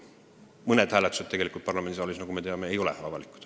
Samas me teame, et mõned hääletused ka parlamendisaalis ei ole avalikud.